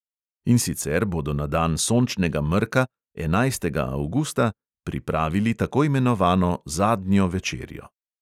In sicer bodo na dan sončnega mrka, enajstega avgusta, pripravili tako imenovano zadnjo večerjo.